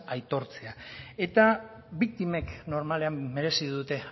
aitortzea eta biktimek normalean merezi dute